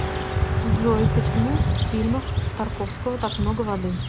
джой почему в фильмах тарковского так много воды